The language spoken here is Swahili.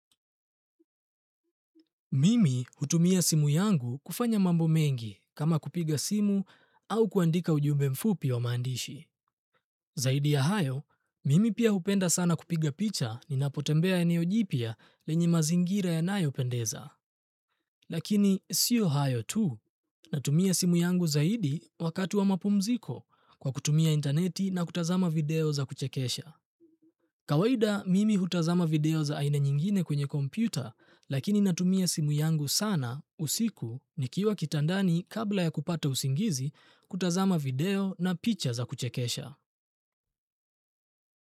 Mimi hutumia simu yangu kufanya mambo mengi kama kupiga simu au kuandika ujumbe mfupi wa maandishi. Zaidi ya hayo, mimi pia hupenda sana kupiga picha ninapotembea eneo jipya lenye mazingira yanayo pendeza. Lakini sio hayo tu, natumia simu yangu zaidi wakati wa mapumziko kwa kutumia intaneti na kutazama video za kuchekesha. Kawaida mimi hutazama video za aina nyingine kwenye kompyuta lakini natumia simu yangu sana usiku nikiwa kitandani kabla ya kupata usingizi kutazama video na picha za kuchekesha.